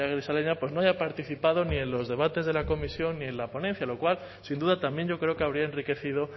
amaia grisaleña pues no haya participado ni en los debates de la comisión ni en la ponencia lo cual sin duda también yo creo que habría enriquecido